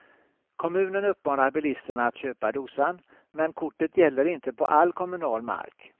Kommunen uppmanar bilisterna att köpa dosan, men kortet gäller inte på all kommunal mark.